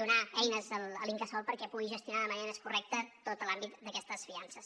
donar eines a l’incasòl perquè pugui gestionar de manera més correcta tot l’àmbit d’aquestes fiances